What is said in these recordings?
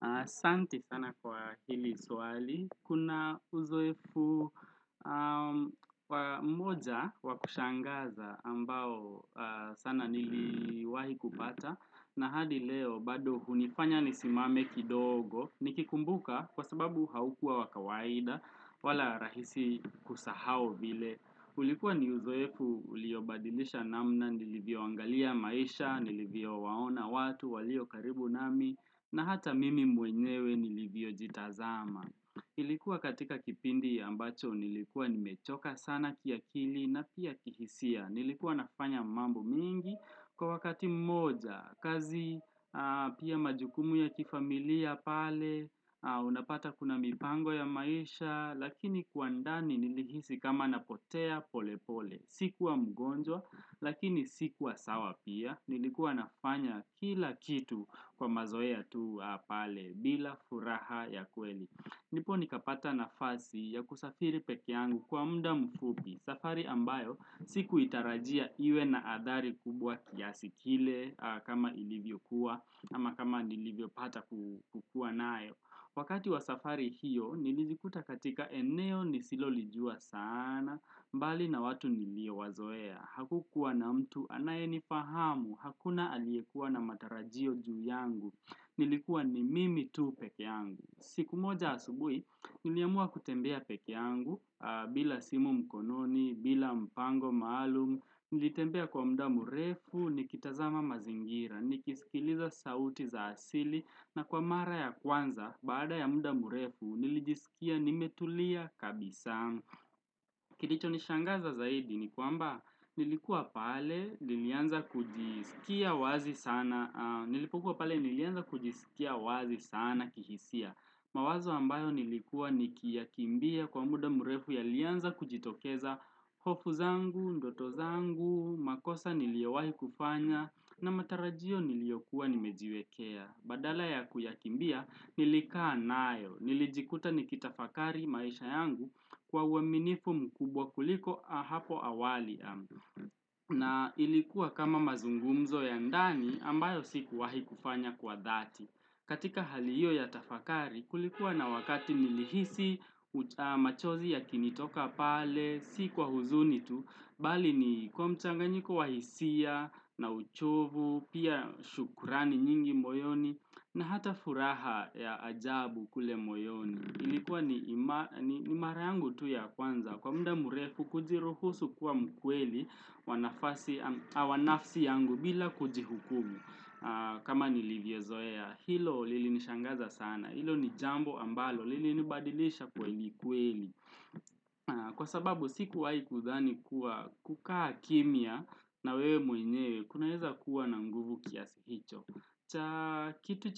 Na asanti sana kwa hili suwali, kuna uzoefu mmoja wakushangaza ambao sana niliwahi kupata. Na hadi leo, bado hunifanya nisimame kidogo, nikikumbuka kwa sababu haukua wa kawaida, wala rahisi kusahau vile. Ulikuwa ni uzoefu, uliobadilisha namna, nilivyo angalia maisha, nilivyowaona watu, walio karibu nami, na hata mimi mwenyewe nilivyojitazama. Ilikuwa katika kipindi ya ambacho, nilikuwa nimechoka sana kiakili na pia kihisia. Nilikuwa nafanya mambo mengi kwa wakati mmoja, kazi, pia majukumu ya kifamilia pale, unapata kuna mipango ya maisha, Lakini kwa ndani nilihisi kama napotea pole pole Sikuwa mgonjwa, lakini sikuwa sawa pia Nilikuwa nafanya kila kitu kwa mazoea ya tu pale bila furaha ya kweli nipo nikapata nafasi ya kusafiri peke yangu kwa mda mfupi safari ambayo si kuitarajia iwe na adhari kubwa kiasi kile kama ilivyo kuwa, ama kama nilivyopata kukuwa nayo Wakati wa safari hiyo, nilijikuta katika eneo nisilo lijua sana, mbali na watu nilio wazoea, hakukuwa na mtu anaye ni fahamu, hakuna aliyekua na matarajio juu yangu, nilikuwa ni mimi tuu peke yangu. Siku moja asubui, niliamua kutembea peke yangu, bila simu mkononi, bila mpango maalumu, nilitembea kwa mda murefu, nikitazama mazingira, nikisikiliza sauti za asili, na kwa mara ya kwanza, bada ya mda murefu, nilijisikia nimetulia kabisa Kilicho nishangaza zaidi ni kwamba nilikuwa pale nilianza kujisikia wazi sana kihisia. Mawazo ambayo nilikuwa nikia kimbia kwa muda murefu yalianza kujitokeza hofu zangu, ndoto zangu, makosa niliewahi kufanya na matarajio niliyokuwa nimejiwekea. Badala ya kuyakimbia nilikaa nayo, nilijikuta nikitafakari maisha yangu kwa uaminifu mkubwa kuliko hapo awali ambu. Na ilikuwa kama mazungumzo ya ndani ambayo sikuwahi kufanya kwa dhati. Katika haliyo ya tafakari kulikuwa na wakati nilihisi machozi yakinitoka pale, Si kwa huzuni tu, bali ni kwa mchanganyiko wa hisia, na uchovu, pia shukurani nyingi moyoni, na hata furaha ya ajabu kule moyoni. Ilikuwa ni mara yangu tu ya kwanza, kwa mda murefu kujiruhusu kwa mkweli wanafasi awa nafsi yangu bila kujihukumu. Kama nilivyezoea, hilo lilinishangaza sana, hilo jambo ambalo, lilinibadilisha kweli kweli. Kwa sababu sikuwai kudani kuwa kukaa kimia na wewe mwenyewe Kuna heza kuwa na mguvu kiasi hicho Kitu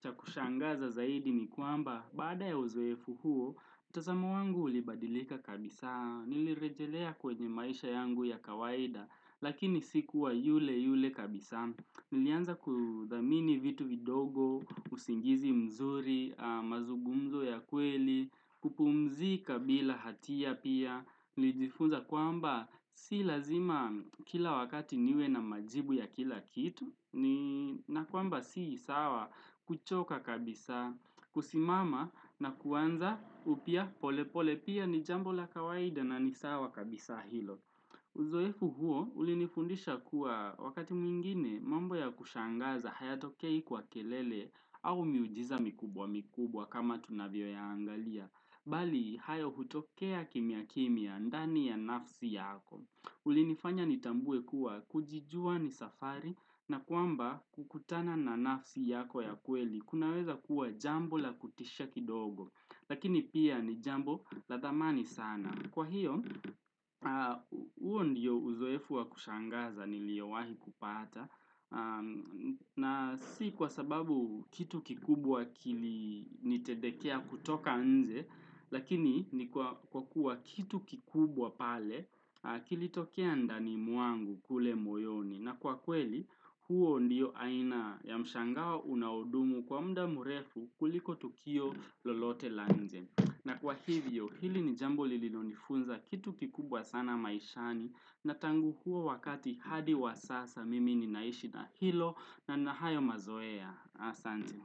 cha kushangaza zaidi ni kuamba Bada ya uzoefu huo, mtazamo wangu ulibadilika kabisa Nilirejelea kwenye maisha yangu ya kawaida Lakini sikuwa yule yule kabisa Nilianza kudamini vitu vidogo, usingizi mzuri, mazugumzo ya kweli kupumzika bila hatia pia Lijifunza kwamba si lazima kila wakati niwe na majibu ya kila kitu na kwamba si sawa kuchoka kabisa kusimama na kuwanza upia pole pole pia ni jambo la kawaida na ni sawa kabisa hilo Uzoefu huo ulinifundisha kuwa wakati mwingine mambo ya kushangaza haya tokei kwa kelele au miujiza mikubwa mikubwa kama tunavio ya angalia bali hayo hutokea kimia kimia ndani ya nafsi yako ulinifanya nitambue kuwa kujijua ni safari na kuamba kukutana na nafsi yako ya kweli kunaweza kuwa jambo la kutisha kidogo lakini pia ni jambo la thamani sana kwa hiyo uo ndiyo uzoefu wa kushangaza niliowahi kupata na si kwa sababu kitu kikubwa kilinitedekea kutoka nje lakini ni kwa kuwa kitu kikubwa pale kilitokia ndani muangu kule moyoni na kwa kweli huo ndiyo aina ya mshangawo unaodumu kwa mda murefu kuliko tukio lolote la nje na kwa hivyo hili ni jambo lilinonifunza kitu kikubwa sana maishani na tangu huo wakati hadi wa sasa mimi ni naishi na hilo na na hayo mazoea Asante.